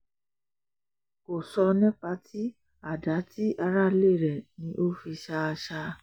kò sọ nípa tí àdá ti aráalé rẹ̀ ni ó fi ṣá a ṣá a